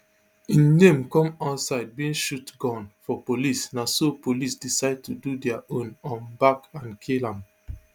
im name come outside bin shoot gun for police na so police decide to do dia own um back and kill am